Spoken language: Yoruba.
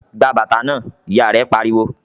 "Gba bàtà náà!", Ìyá rẹ̀ pariwo